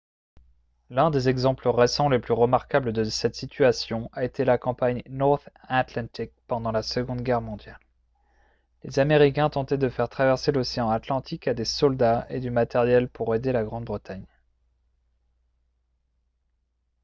l'un des exemples récents les plus remarquables de cette situation a été la campagne north atlantic pendant la seconde guerre mondiale les américains tentaient de faire traverser l'océan atlantique à des soldats et du matériel pour aider la grande-bretagne